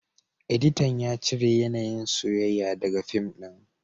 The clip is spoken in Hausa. Editan ya cire yanayin soyayya daga fim din